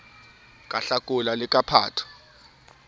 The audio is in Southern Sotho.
ka hlakola le ka phato